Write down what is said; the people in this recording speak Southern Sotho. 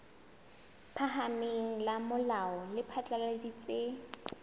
phahameng la molao le phatlaladitse